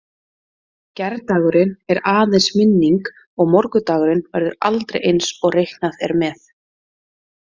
Gærdagurinn er aðeins minning og morgundagurinn verður aldrei eins og reiknað er með.